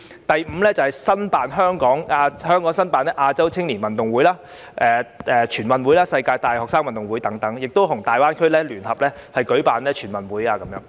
第五，爭取香港申辦亞洲青年運動會、全國運動會及世界大學生運動會等，並可與粵港澳大灣區聯合舉辦全運會。